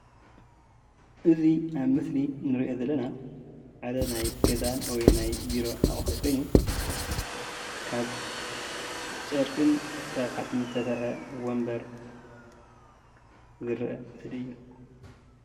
እዚ ኣብ ምስሊ እንሪኦ ዘለና ሓደ ናይ ገዛን ወይ ናይ ቢሮ ኣቁሑትን ኮይኑ ካብ ጨርቅን ካብ ሓፂንን ዝተሰርሐ ወንበር ዝርአ ምስሊ እዩ።